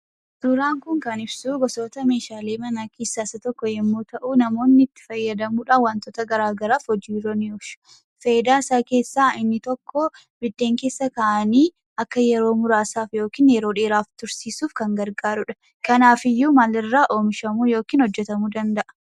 Suuraan kun kan ibsuu gosoota meeshaalee manaa keessaa isa tokko yommuu ta'u, namoonni itti fayyadamuudhaaf wantoota garagaraaf hojiirra ni oolchu. Fayidaasaa keessaa inni tokko; biddeen keessa kaa'anii akka yeroo muraasaaf yookiin yeroo dheeraaf tursiisuuf kan gargaarudha kanaafiyyuu maal irraa oomishamuu yookiin hojjatamuu danda'a?